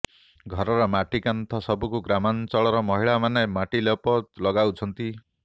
ଘରର ମାଟିକାନ୍ଥ ସବୁକୁ ଗ୍ରାମାଞ୍ଚଳର ମହିଲା ମାନେ ମାଟି ଲେପ ଲଗାଉଛନ୍ତି